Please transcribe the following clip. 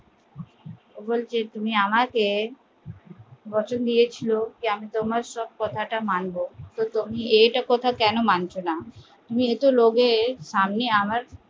বলসে তুমি আমাকে আমি তোমার সব কথাটা মানব তো তুমি এই কথাটা কেন মানছ না তুমি এতো লোকের সামনে আমার